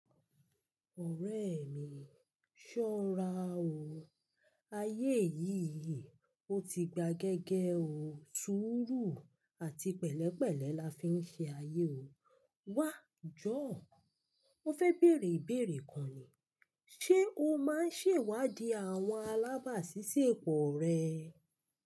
Ọ̀rẹ́ mi, ṣọ́ra o. Ayé yìí, ó ti gba gẹ́gẹ́ o. Sùúrù àti pẹ̀lẹ́pẹ̀lẹ́ la fi ń ṣe ayé o. Wá, jọ́, mo fẹ́ bèèrè ìbèèrè kan ni: ṣe o máa ń ṣèwádìí àwọn alábàásísẹ́pọ̀ rẹ?